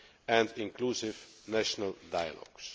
and inclusive national dialogues.